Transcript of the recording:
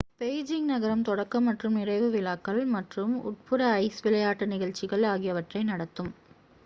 Beijing நகரம் தொடக்க மற்றும் நிறைவு விழாக்கள் மற்றும் உட்புற ஐஸ் விளையாட்டு நிகழ்ச்சிகள் ஆகியவற்றை நடத்தும்